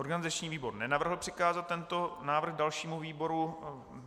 Organizační výbor nenavrhl přikázat tento návrh dalšímu výboru.